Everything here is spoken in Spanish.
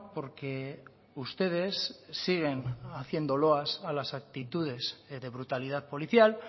porque ustedes siguen haciendo loas a las actitudes de brutalidad policial